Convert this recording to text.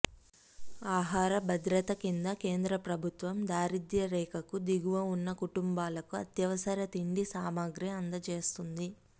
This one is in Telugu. ఆహార భద్రత కింద కేంద్ర ప్రభుత్వం దారిద్య్ర రేఖకు దిగువ ఉన్న కుటుంబాలకు అత్యవసర తిండి సామాగ్రి అందజేస్తోంది